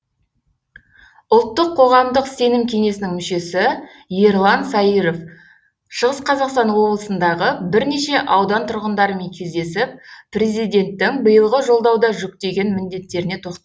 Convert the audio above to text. ұлттық қоғамдық сенім кеңесінің мүшесі ерлан саиров шығыс қазақстан облысындағы бірнеше аудан тұрғындарымен кездесіп президенттің биылғы жолдауда жүктеген міндеттеріне тоқталды